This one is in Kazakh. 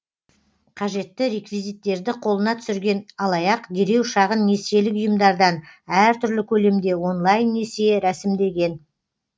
қажетті реквизиттерді қолына түсірген алаяқ дереу шағын несиелік ұйымдардан әртүрлі көлемде онлайн несие рәсімдеген